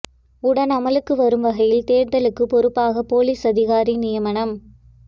உடன் அமுலுக்கு வரும் வகையில் தேர்தலுக்கு பொறுப்பாக பொலிஸ் அதிகாரி நியமனம்